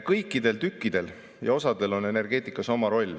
Kõikidel tükkidel ja osadel on energeetikas oma roll: